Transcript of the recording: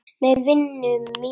Með vinum mínum.